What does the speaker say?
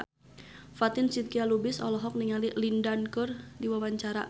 Fatin Shidqia Lubis olohok ningali Lin Dan keur diwawancara